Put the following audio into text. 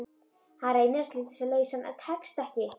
Hann reynir að slíta sig lausan en tekst ekki.